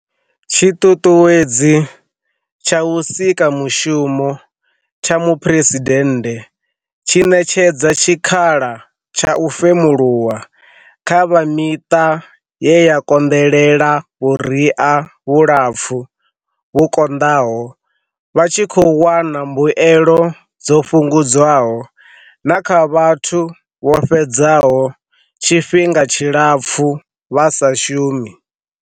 Tshiṱuṱuwedzi tsha Vhusikamushumo tsha Muphuresi dennde tshi ṋetshedza tshik hala tsha u femuluwa kha vha miṱa ye ya konḓelela vhuria vhulapfu vhu konḓaho vha tshi khou wana mbuelo dzo fhu ngudzwaho, na kha vhathu vho fhedzaho tshifhinga tshilapfu vha sa shumi.